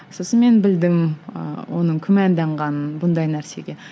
сосын мен білдім ы оның күмәнданғанын бұндай нәрсеге